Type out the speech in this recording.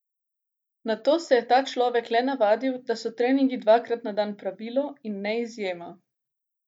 Nato se je ta človek le navadil, da so treningi dvakrat na dan pravilo in ne izjema.